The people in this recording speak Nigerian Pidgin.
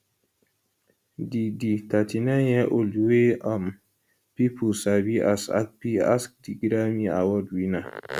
di di 39yearold wey um pipo sabi as akpi ask di grammy award winner